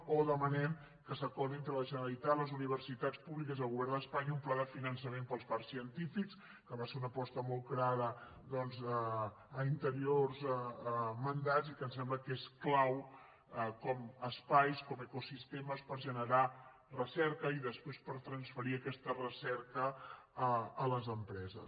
o demanem que s’acordi entre la generalitat les universitats públiques i el govern d’espanya un pla de finançament per als parcs científics que va ser una aposta molt clara doncs en anteriors mandats i que em sembla que és clau com espais com ecosistemes per generar recerca i després per transferir aquesta recerca a les empreses